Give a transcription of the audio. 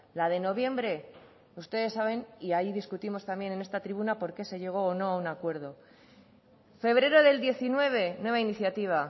la de noviembre ustedes saben y ahí discutimos también en esta tribuna por qué se llegó o no a un acuerdo febrero del diecinueve nueva iniciativa